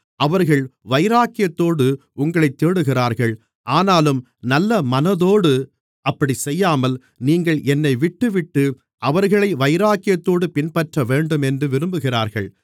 அவர்கள் வைராக்கியத்தோடு உங்களைத் தேடுகிறார்கள் ஆனாலும் நல்லமனதோடு அப்படிச் செய்யாமல் நீங்கள் என்னைவிட்டுவிட்டு அவர்களை வைராக்கியத்தோடு பின்பற்றவேண்டும் என்று விரும்புகிறார்கள்